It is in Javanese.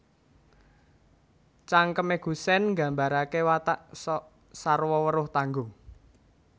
Cangkem Gusèn Nggambaraké watak sok sarwa weruh tanggung